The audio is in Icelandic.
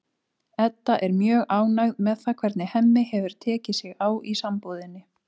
Edda er mjög ánægð með það hvernig Hemmi hefur tekið sig á í sambúðinni.